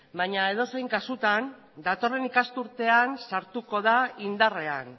baina edozein kasutan datorren ikasturtean sartuko da indarrean